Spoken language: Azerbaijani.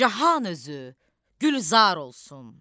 Cahan özü gülzar olsun".